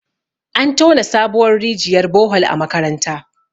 an tona sabuwar rijiyar Bohol a makaranta